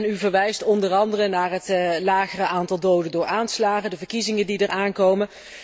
U verwijst onder andere naar het lagere aantal doden door aanslagen en de verkiezingen die eraan komen.